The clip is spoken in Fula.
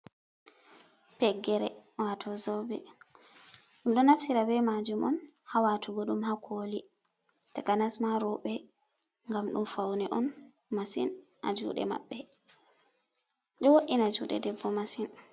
Feggere wato zobe ɗum ɗo naftira be majum on ha watugo ɗum ha koli, takanas ma roɓe gam ɗum fauni on masin ha juɗe maɓɓe, ɗo wo’ina juɗe debbo masin.